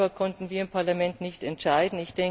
Darüber konnten wir im Parlament nicht entscheiden.